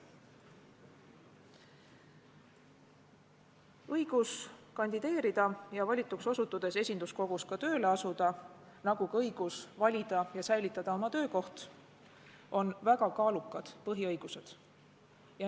Õigus kandideerida ja valituks osutudes esinduskogus tööle asuda, nagu ka õigus valida ja säilitada oma töökoht, on väga kaalukad põhiõigused.